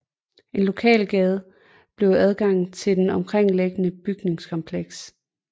En lokalgade giver adgang til det omkringliggende bygningskompleks